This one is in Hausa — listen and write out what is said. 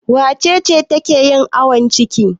Wace ce take yin awon ciki?